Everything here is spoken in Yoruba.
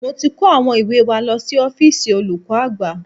Mo ti kó àwọn ìwé wa lọ sí ọ́fíìsì olùkọ́ àgbà